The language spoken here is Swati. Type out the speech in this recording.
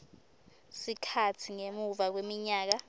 sikhatsi ngemuva kweminyaka